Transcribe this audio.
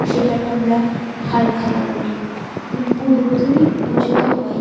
সেটাকে আমরা হালকাথা বলি উদ্বোধনী পুজো তো হয়।